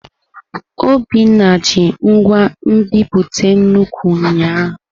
Obinna ji ngwa nbipute nnukwu ụnyahụ.